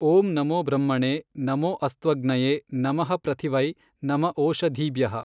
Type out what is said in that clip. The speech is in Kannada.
ಓಂ ನಮೋ ಬ್ರಹ್ಮಣೇ ನಮೋ ಅಸ್ತ್ವಗ್ನಯೇ ನಮಃ ಪೃಥಿವೈ ನಮ ಓಷಧೀಭ್ಯಃ